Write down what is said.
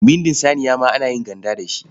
Bindin saniya ma ana yin ganda da shi.